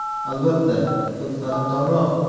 Albatta, ko‘k qadrdonroq.